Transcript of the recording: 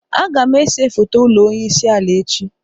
Agam ese foto ulo onye isi ala echi.